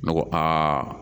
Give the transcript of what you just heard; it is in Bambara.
Ne ko aa